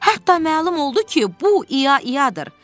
Hətta məlum oldu ki, bu ia-iadır.